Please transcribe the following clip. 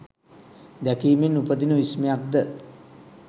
දැකීමෙන් උපදින විස්මයක් ද?